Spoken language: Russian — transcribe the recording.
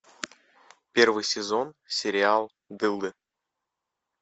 первый сезон сериал дылды